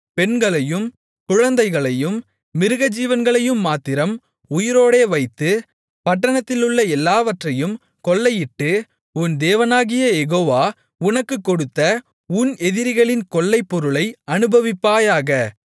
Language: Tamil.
பெண்களையும் குழந்தைகளையும் மிருகஜீவன்களையும் மாத்திரம் உயிரோடே வைத்து பட்டணத்திலுள்ள எல்லாவற்றையும் கொள்ளையிட்டு உன் தேவனாகிய யெகோவா உனக்கு ஒப்புக்கொடுத்த உன் எதிரிகளின் கொள்ளைப்பொருளை அனுபவிப்பாயாக